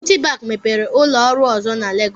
Citibank mepere ụlọ ọrụ ọzọ na Legos.